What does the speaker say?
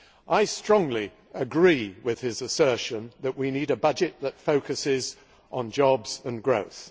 I strongly agree with his assertion that we need a budget that focuses on jobs and growth.